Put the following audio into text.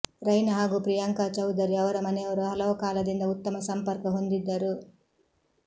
ರೈನಾ ಹಾಗೂ ಪ್ರಿಯಾಂಕಾ ಚೌಧರಿ ಅವರ ಮನೆಯವರು ಹಲವು ಕಾಲದಿಂದ ಉತ್ತಮ ಸಂಪರ್ಕ ಹೊಂದಿದ್ದರು